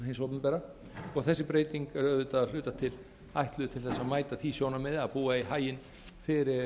hins opinbera og þessi breyting er auðvitað að hluta til ætluð til þess að mæta því sjónarmiði að búa í haginn fyrir